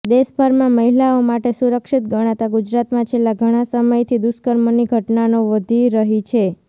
દેશભરમાં મહિલાઓ માટે સુરક્ષિત ગણાતા ગુજરાતમાં છેલ્લા ઘણા સમયથી દુષ્કર્મની ઘટનાઓ વધી રહી છે